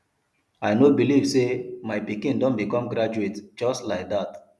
i no believe say my pikin don become graduate just like dat